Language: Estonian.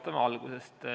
Alustame algusest.